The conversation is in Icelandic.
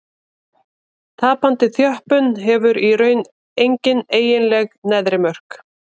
Tapandi þjöppun hefur í raun engin eiginleg neðri mörk.